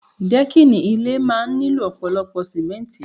Dẹ́kìnì ilé máa ń nílò ọ̀pọ̀lọpọ̀ símẹ́ntì